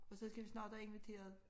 Og så skal vi snart have inviteret